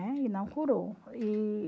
Né? E não curou. E...